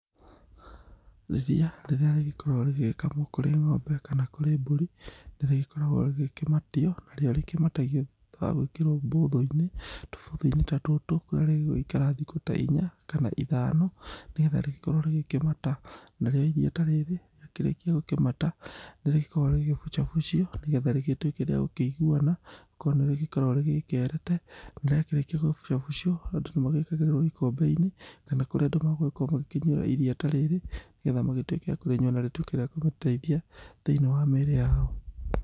Irĩa rĩria rĩgĩkorwo rĩgĩkamwo kũrĩ ng'ombe kana kũrĩ mbũrĩ, nĩ rĩgĩkoragwo rĩgĩkĩmatio narĩo rĩkĩmatagio thutha wa gwĩkĩrwo bũthũ-inĩ, tũbũthũ-inĩ ta tũtũ kũrĩa rĩgũgĩikara thikũ ta inya, kana ithano, nĩgetha rĩgĩkorwo rĩgĩkĩmata. Narĩo iria ta rĩrĩ rĩakĩrĩkia gũkĩmata, nĩ rĩgĩkoragwo rĩgĩbucabucio nĩgetha rĩgĩtuĩke rĩa gũkĩiguana, gũkorwo nĩ rĩgĩkoragwo rĩgĩkerete, na rĩakĩrĩkia gũgĩbucabucio, andũ nĩ magĩkagĩrĩrwo ikombe-inĩ, kana kũrĩa andũ magũgĩkorwo magĩkĩnyuĩra iria ta rĩrĩ, nĩgetha magĩtuĩke a kũrĩnyua na rĩtuĩke rĩa gũteithia thĩ-inĩ wa mĩrĩ yao.